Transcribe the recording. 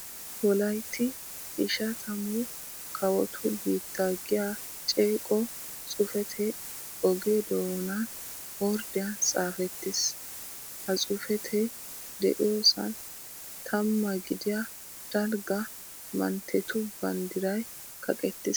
Wolaytti ishatamu kawotu biitta giya ceeqo xuufetee oge doonan orddiyan xaafettiis. Ha xuufetee de'iyosan tammaa gidiya dalgga manttetu banddiray kaqettiis.